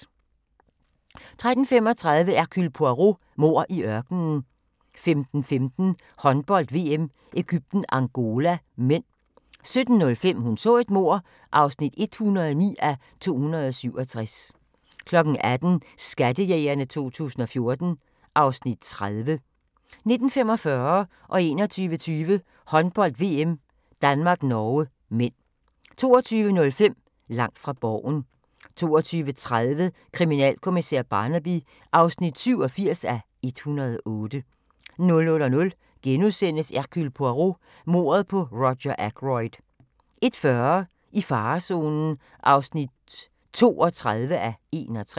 13:35: Hercule Poirot: Mord i ørkenen 15:15: Håndbold: VM - Egypten-Angola (m) 17:05: Hun så et mord (109:267) 18:00: Skattejægerne 2014 (Afs. 30) 19:45: Håndbold: VM - Danmark-Norge (m) 21:20: Håndbold: VM - Danmark-Norge (m) 22:05: Langt fra Borgen 22:30: Kriminalkommissær Barnaby (87:108) 00:00: Hercule Poirot: Mordet på Roger Ackroyd * 01:40: I farezonen (32:61)